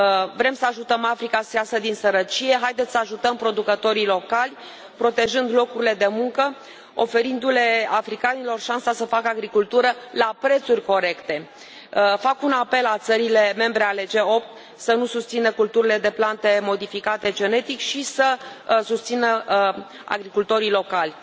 Vrem să ajutăm Africa să iasă din sărăcie. Să ajutăm producătorii locali protejând locurile de muncă, oferindu le africanilor șansa să facă agricultură la prețuri corecte! Fac un apel la țările membre ale G8 să nu susțină culturile de plante modificate genetic și să susțină agricultorii locali.